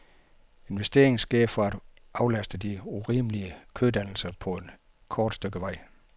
Investeringen sker for at aflaste de urimelige kødannelser på et kort stykke vej.